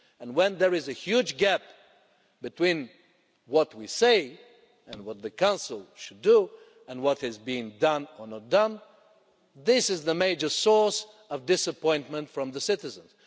When there is a huge gap between what we say and what the Council should do, and what is being done or not done, this is a major source of disappointment for the citizens.